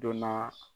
Don n'a